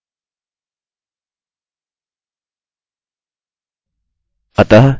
चलिए इसको इंडेंट करते हैं